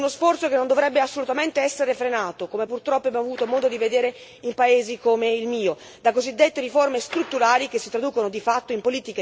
Uno sforzo che non dovrebbe assolutamente essere frenato, come purtroppo abbiamo avuto modo di vedere in paesi come il mio, da cosiddette riforme strutturali che si traducono di fatto in politiche di...